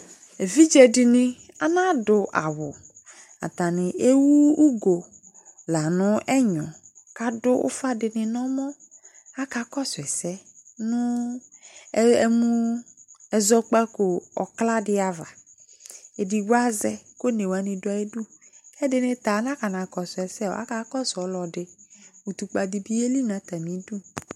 ɛvidze dini ɑnadu ɑwu ɑtani ɛwu ugo la nɛgno kɑduwufadini nɛmɔ ɑkakɔsuese nu ɛzɔgbako kladiava ɛdigboazɛ ku ɔnewani duayidu ɛdinita ɛdinita ɑnakosuese ɑkakosu ɔlodi utukpa dibiyeli nɑtamidu